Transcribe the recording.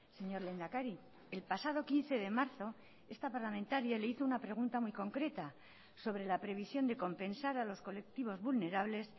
señor lehendakari el pasado quince de marzo esta parlamentaria le hizo una pregunta muy concreta sobre la previsión de compensar a los colectivos vulnerables